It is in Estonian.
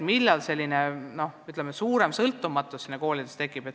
Millal tekib koolidesse suurem sõltumatus?